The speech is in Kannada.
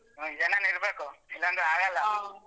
ಏನಾರು ಇರ್ಬೇಕು ಇಲ್ಲಾಂದ್ರೆ ಆಗಲ್ಲ.